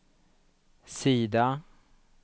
sida